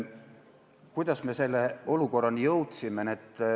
Kuidas me selle olukorrani jõudsime?